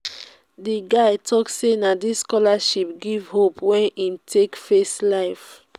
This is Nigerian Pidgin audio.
di guy tok sey na di scholarship give hope wey im take face life.